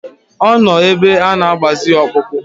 Ọ nọ ebe ana-agbazi ya ọkpụkpụ.